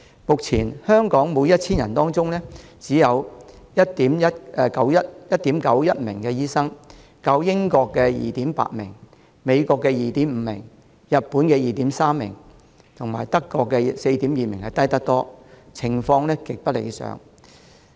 目前香港每 1,000 人當中，只有 1.91 名醫生，較英國 2.8 名、美國 2.5 名、日本 2.3 名、德國 4.2 名低得多，情況極不理想。